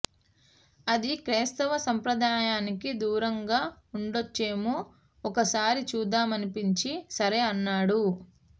అది క్రైస్తవ సాంప్రదాయానికి దూరంగా ఉండొచ్చేమో ఒకసారి చూద్దామనిపించి సరే అన్నాడు